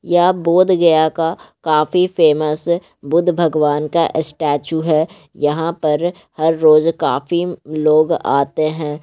यह बौद्ध गया का काफी फेमस बुद्ध भगवान का स्टैचू है। यहां पर हर रोज काफी लोग आते है ।